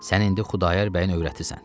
Sən indi Xudayar bəyə övrətisən.